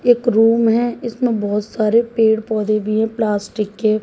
एक रूम है इसमें बहोत सारे पेड़ पौधे भी हैं प्लास्टिक के।